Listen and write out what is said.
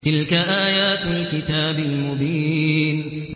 تِلْكَ آيَاتُ الْكِتَابِ الْمُبِينِ